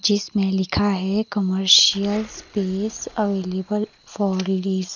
जिसमें लिखा है commercial space available for release.